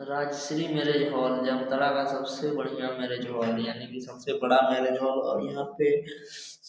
राज Shri marriage hall Jamtara का सबसे बढ़िया मेरिज हाल है यानी की सबसे बड़ा मेरिज हाल और यहां पे